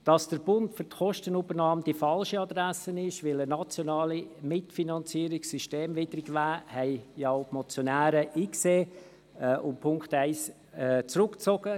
Dass der Bund für die Kostenübernahme die falsche Adresse ist, weil eine nationale Mitfinanzierung systemwidrig wäre, haben auch die Motionäre eingesehen und den Punkt 1 zurückgezogen.